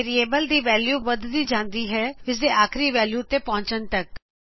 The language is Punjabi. ਵੇਰਿਏਬਲ ਦੀ ਵੈਲਿਉ ਵੱਧਦੀ ਜਾਂਦੀ ਹੈਂਇਸ ਦੇ ਆਖਿਰੀ ਵੈਲਿਉ ਤੇ ਪਹੁਚਣ ਤੱਕ